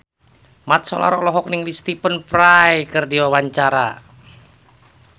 Mat Solar olohok ningali Stephen Fry keur diwawancara